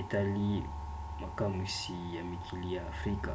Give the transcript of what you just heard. etali makamwisi ya mikili ya afrika